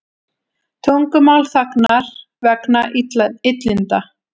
Tungumál þagnar vegna illinda